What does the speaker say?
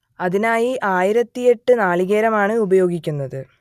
അതിനായി ആയിരത്തിയെട്ട് നാളികേരമാണ് ഉപയോഗിക്കുന്നത്